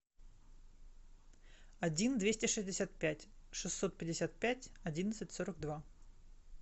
один двести шестьдесят пять шестьсот пятьдесят пять одиннадцать сорок два